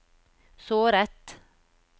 såret